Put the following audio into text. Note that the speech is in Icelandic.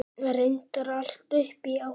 Reyndar allt upp í átta.